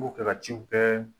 B'u kɛ ka ciw kɛ